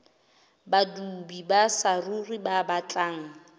badudi ba saruri ba batlang